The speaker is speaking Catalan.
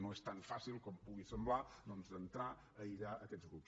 no és tan fàcil com pugui semblar doncs entrar a aïllar aquests grups